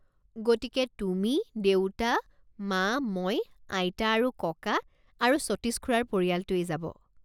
গতিকে তুমি, দেউতা, মা, মই, আইতা আৰু ককা আৰু সতীশ খুৰাৰ পৰিয়ালটোৱেই যাব।